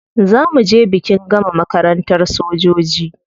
Za mu je bikin gama makarantar sojoji.